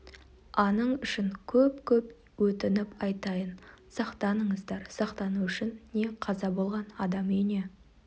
аның үшін көп-көп өтініп айтайын сақтаныңыздар сақтану үшін не қаза болған адам үйіне